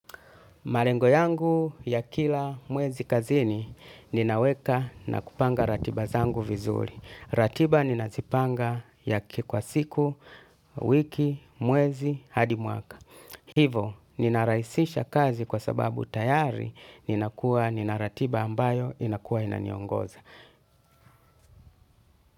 Malengo yangu ya kila mwezi kazini ninaweka na kupanga ratiba zangu vizuri. Ratiba ninazipanga ya kwa siku, wiki, mwezi, hadi mwaka. Hivo, ninarahisisha kazi kwa sababu tayari ninakuwa nina ratiba ambayo inakuwa inaonyongoza.